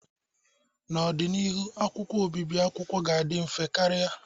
N'ọdịnihu, akwụkwọ obibi akwụkwọ ga-adị mfe karị.